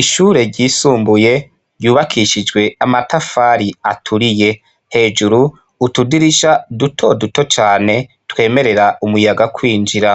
Ishure ryisumbuye ryubakishijwe amatafari aturiye, hejuru , utudirisha dutoduto cane twemerera umuyaga kwinjira.